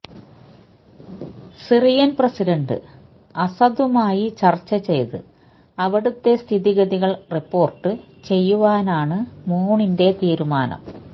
Syrian president അസദുമായി ചര്ച്ച ചെയ്ത് അവിടുത്തെ സ്ഥിതിഗതികള് റിപ്പോര്ട്ട് ചെയ്യുവാനാണ് മൂണിന്റെ തീരുമാനം